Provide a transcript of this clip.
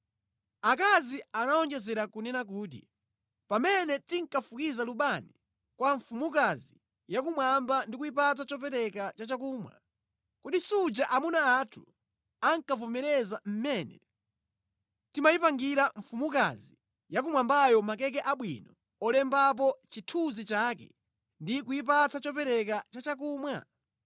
Akazi anawonjezera kunena kuti, “Pamene tinkafukiza lubani kwa mfumukazi yakumwamba ndi kuyipatsa chopereka cha chakumwa, kodi suja amuna athu ankavomereza mmene timayipangira mfumukazi yakumwambayo makeke abwino olembapo chinthunzi chake ndi kuyipatsa chopereka cha chakumwa?”